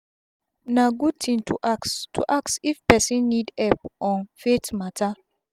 na gud tin to ask to ask if person nid epp on faith mata